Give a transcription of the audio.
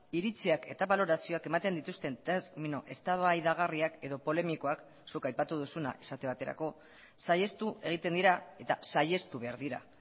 iritziak eta balorazioak ematen dituzten termino eztabaidagarriak edo polemikoak zuk aipatu duzuna esate baterako saihestu egiten dira eta saihestu behar dira